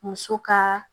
Muso ka